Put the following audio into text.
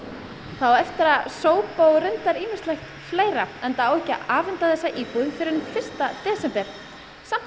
það á eftir að sópa og ýmislegt fleira enda á ekki að afhenda íbúðina fyrr en fyrsta desember samt